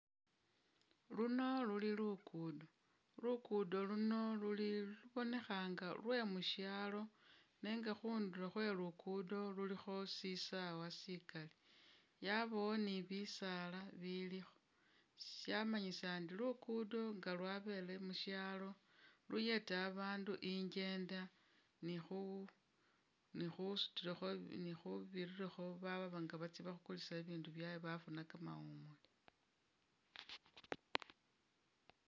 Luno luli lukudo, lukudo luno luli lubonekha nga lwemushaalo nenga khundulo khwe lukudo lulikho shisaawa sikali, yabawo ni bisaala bilikho, shamanyisa ndi lukudo nga lwabele mushalo luyeta abandu injenda ni khu ni khusutilakho ni khubirirakho baba nga batsa bakulise bibindu byabwe bafuna kamawumule